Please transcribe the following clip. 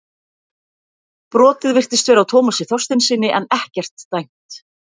Brotið virtist vera á Tómasi Þorsteinssyni en ekkert dæmt.